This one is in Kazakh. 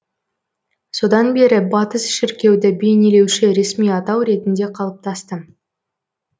содан бері батыс шіркеуді бейнелеуші ресми атау ретінде қалыптасты